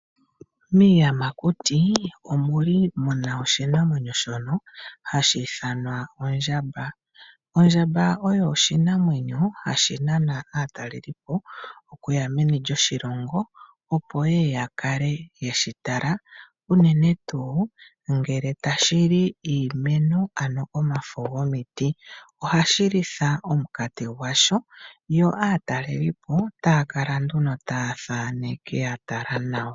Miiyamakuti omuli muna oshinamwenyo shono hashi ithanwa Oondjamba. Oondjamba oyo oshinamwenyo hashi nana aatalelipo okuya meni lyoshilongo opo yeye ya kale yeshi tala uunene tu ngele tashi li iimeno ano omafo gwomiti. Ohashi litha omukati gwasho yo atalelipo takala nduno ta thaneke ya tala nawa